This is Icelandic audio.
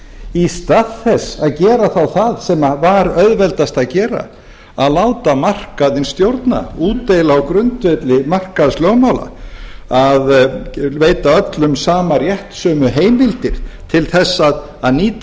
í stað þess að gera þá það sem var auðveldast að gera að láta markaðinn stjórna útdeila á grundvelli markaðslögmála að veita öllum sama rétt sömu heimildir til þess að nýta